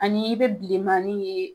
Ani i be bilemanin ye